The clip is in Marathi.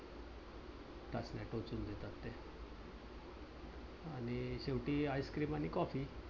आणि शेवटी ice cream आणि कॉफी